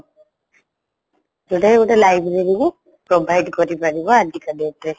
ଯୋଉଟାକି ଗୋଟେ libraryରୁ provide କରିପାରିବ ଆଜିକା date ରେ